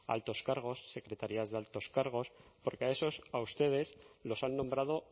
altos cargos secretarías de altos cargos porque esos a ustedes los han nombrado